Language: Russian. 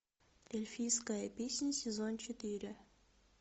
эльфийская песнь сезон четыре